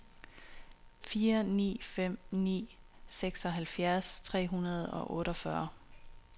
fire ni fem ni seksoghalvfjerds tre hundrede og otteogfyrre